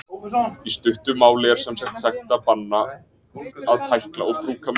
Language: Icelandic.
Í stuttu máli er sem sagt bannað að tækla og brúka munn.